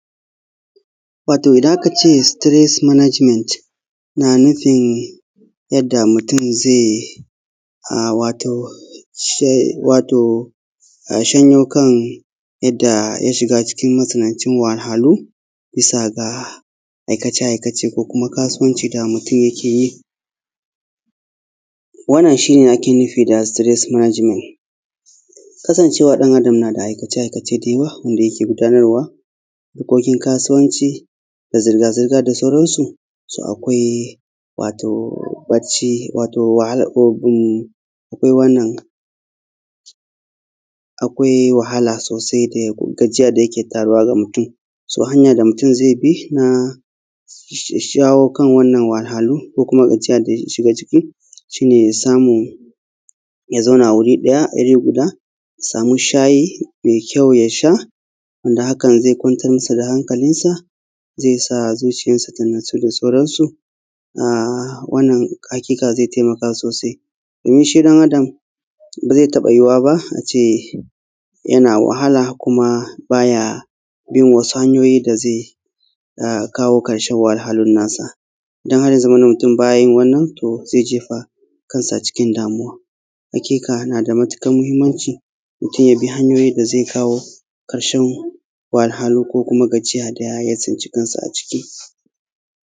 Wato idan aka ce sitiret manajimen na nufin yadda mutum zai a shi shonyo kan yanda ya shiga cikin tsananin wahalhalu bisa ga aikace aikace ko kuma kasuwanci da mutum yike yi wannan shi ne ake nufi da sitiret manajimen. Kasancewa dan adam na da aikace aikace da yawa wanda yake gudanarwa harkokin kasuwanci da zirga zirga da sauransu to akwai barci wato wahala ko gum ko wannan akwai wahala sosai da gajiya da yake taruwa ga mutum. So hanya da mutum zai bi na shashawo kan wannan wahalhalu ko kuma gajiya daya shiga ciki shi ne samun, wato ya zauna wuri ɗaya ya samu shayi mai kyau yasha wanda hakan zai kwantar masa da hankalinsa zai sa zuciyarsa ta natsu da sauransu wannan haƙiƙa zai taimaka sosai domin shi dan Adam ba zai taɓa yiwuwa ba yana wahala baya bin wasu hanyoyi da zai kawo karshen wahalhalun nasa don har ya zamana mutum baya yin wannan to zai jefa kansa cikin damuwaƙ. Haƙiƙa yana da matukar mahimmanci mutum ya bi hanyoyin da zai kawo karshen wahalhalu ko kuma gajiya daya tsinci kansa a ciki.